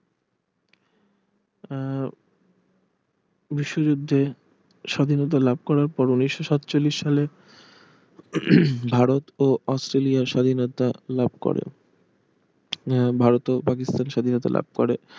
আহ বিশ্বযুদ্ধে স্বাধীনতা লাভ করার পর উনিশশো সাতচল্লিশ সালে ভারত ও অস্ট্রেলিয়ার স্বাধীনতা লাভ করে ভারত ও পাকিস্তান স্বাধীনতা লাভ করে